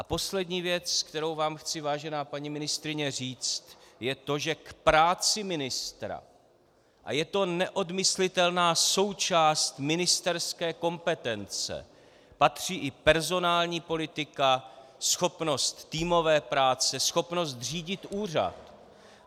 A poslední věc, kterou vám chci, vážená paní ministryně, říct, je to, že k práci ministra, a je to neodmyslitelná součást ministerské kompetence, patří i personální politika, schopnost týmové práce, schopnost řídit úřad.